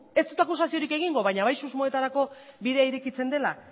ez dut akusaziorik egingo baina bai susmoetarako bidea irekitzen dela